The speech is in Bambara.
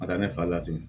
Ka taa ne fari lasegin